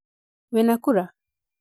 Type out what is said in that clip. Wĩna kura?